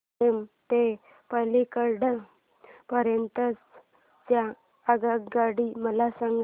सेलम ते पल्लकड पर्यंत च्या आगगाड्या मला सांगा